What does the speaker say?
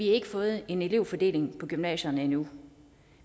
ikke fået en elevfordeling på gymnasierne endnu